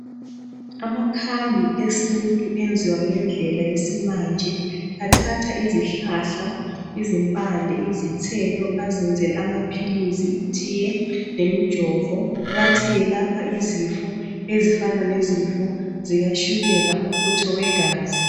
Amakhambi esintu enziwa ngendlela yesimanje athatha izihlahla, izimpande, izithelo azenzele amaphilizi, itiye lemijovo bathi iyelapha izifo ezifana lezifo zikatshukela umfutho wegazi.